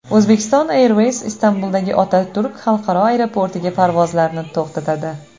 Uzbekistan Airways Istanbuldagi Otaturk xalqaro aeroportiga parvozlarni to‘xtatadi.